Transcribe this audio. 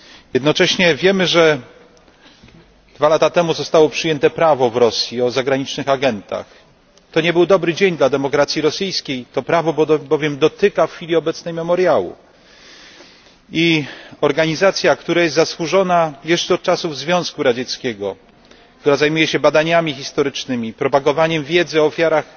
Jednocześnie wiemy, że dwa lata temu w Rosji przyjęto prawo o zagranicznych agentach. To nie był dobry dzień dla demokracji rosyjskiej, to prawo dotyka bowiem w chwili obecnej Memoriału, więc organizacja zasłużona jeszcze od czasów Związku Radzieckiego, która zajmuje się badaniami historycznymi, propagowaniem wiedzy o ofiarach